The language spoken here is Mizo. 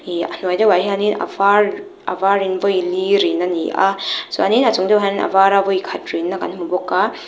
ih a hnuai deuhah hianin a var a varin vawi li rin a ni a chuanin a chung deuhah hian a vara vawi khat rinna kan hmu bawk a.